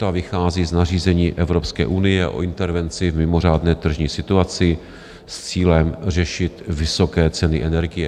Ta vychází z nařízení Evropské unie o intervenci v mimořádné tržní situaci s cílem řešit vysoké ceny energie.